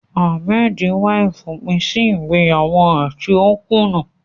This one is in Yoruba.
Ahmed ń wá ìfòpin sí ìgbéyàwó rẹ̀ tí ó kùnà.